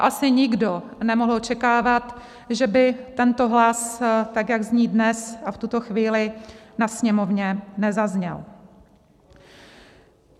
A asi nikdo nemohl očekávat, že by tento hlas tak, jak zní dnes a v tuto chvíli, na Sněmovně nezazněl.